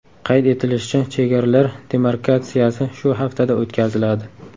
Qayd etilishicha, chegaralar demarkatsiyasi shu haftada o‘tkaziladi.